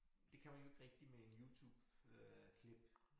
Det kan man jo ikke rigtig med en YouTube øh klip